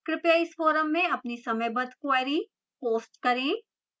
कृपया इस forum में अपनी समयबद्ध queries post करें